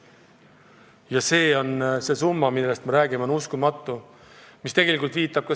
Ja summa, millest me räägime, on uskumatu!